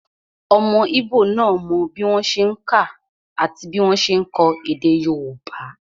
Ọmọ íbò náà mọ bí wọ́n ṣe n kà àti bí wọ́n ṣe n kọ èdè yóòbá